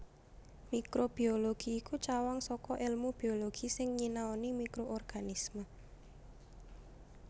Mikrobiologi iku cawang saka èlmu biologi sing nyinaoni mikroorganisme